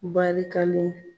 Barikalen.